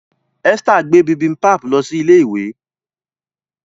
Esther gbé bibimpap ló sì ilé ìwé.